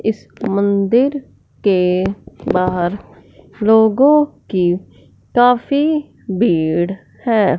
इस मंदिर के बाहर लोगों की काफी भीड़ है।